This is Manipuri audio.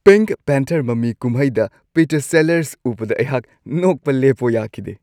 ꯄꯤꯡꯛ ꯄꯦꯟꯊꯔ ꯃꯃꯤ-ꯀꯨꯝꯍꯩꯗ ꯄꯤꯇꯔ ꯁꯦꯂꯔꯁ ꯎꯕꯗ ꯑꯩꯍꯥꯛ ꯅꯣꯛꯄ ꯂꯦꯞꯄꯣ ꯌꯥꯈꯤꯗꯦ ꯫